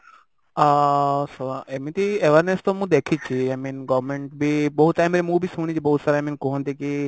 ଆ ସ ଏମିତି awareness ତ ମୁଁ ଦେଖିଛି i mean government ବି ବହୁତ ନାଇଁ ମୁଁ ବି ଶୁଣିଛି ବହୁତ ସାରା i mean କୁହନ୍ତି କି